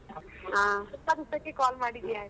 ಹ .